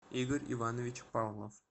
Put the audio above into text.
игорь иванович павлов